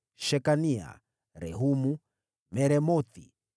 Shekania, Rehumu, Meremothi,